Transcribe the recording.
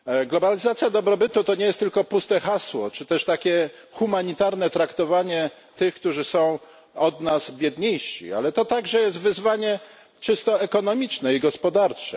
Globalizacja dobrobytu to nie jest tylko puste hasło, czy też takie humanitarne traktowanie tych, którzy są od nas biedniejsi, ale jest to także wyzwanie czysto ekonomiczne i gospodarcze.